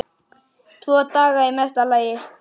Tvo daga í mesta lagi.